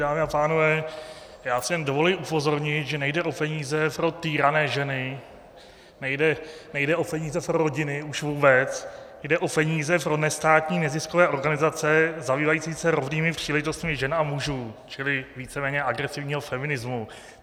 Dámy a pánové, já si jen dovoluji upozornit, že nejde o peníze pro týrané ženy, nejde o peníze pro rodiny už vůbec, jde o peníze pro nestátní neziskové organizace zabývající se rovnými příležitostmi žen a mužů, čili víceméně agresivního feminismu.